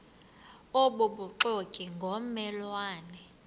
obubuxoki ngomme lwane